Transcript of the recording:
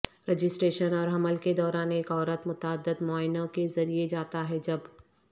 registration اور حمل کے دوران ایک عورت متعدد معائنوں کے ذریعے جاتا ہے جب